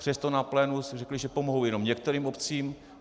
Přesto na plénu si řekli, že pomohou jenom některým obcím.